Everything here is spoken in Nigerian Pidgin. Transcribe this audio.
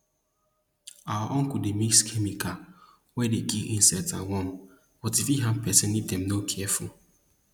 our uncle dey mix chemical wey dey kill insect and worm but e fit harm peson if dem no careful